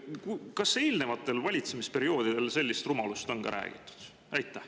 Kas eelnevatel valitsemisperioodidel on ka sellist rumalust räägitud?